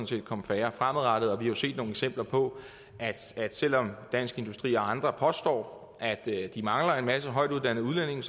set komme færre fremadrettet og vi har jo set nogle eksempler på selv om dansk industri og andre påstår at de mangler en masse højtuddannede udlændinge